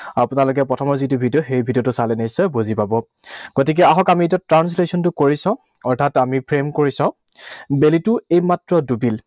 আপোনালোকে প্ৰথমৰ যিটো ভিডিঅ, সেই ভিডিঅটো চালে নিশ্চয় বুজি পাব। গতিকে আহক আমি এইটো translation টো কৰি চাওঁ। অৰ্থাৎ আমি frame কৰি চাওঁ। বেলিটো এইমাত্ৰ ডুবিল।